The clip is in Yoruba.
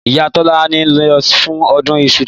Ìyá tọlàni lọ fún ọdún ìsú títùn